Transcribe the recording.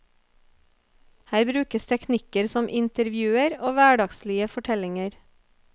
Her brukes teknikker som intervjuer og hverdagslige fortellinger.